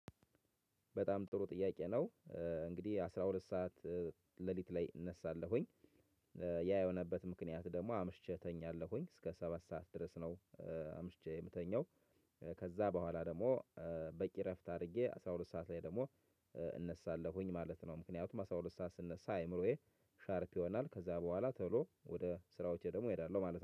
በጣም ጥሩ ጥያቄ ነው። እንግዲህ አስራ ሁለት ሰዓት ሌሊት ላይ እነሳለሁኝ። ያ የሆነበት ምክንያት ደሞ አምሽቼ እተኛለሁኝ እስከ ሰባት ሰዓት ድረስ ነው። አምሽቼ የምተኛው ከዛ በኋላ ደሞ በቂ እረፍት አርጌ አስራ ሁለት ሰዓት ላይ ደሞ እነሳለሁኝ ማለት ነው። ምክንያቱም አስራ ሁለት ሰዓት ስነሳ አይምሮዬ ሻርፕ ይሆናል። ከዛ በኋላ ቶሎ ወደ ስራዎቼ ደሞ እሄዳለሁ ማለት ነው